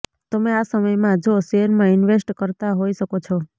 તમે આ સમય માં જો શેયર માં ઇન્વેસ્ટ કરતા હોઈ શકો છો